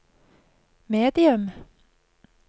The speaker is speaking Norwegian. medium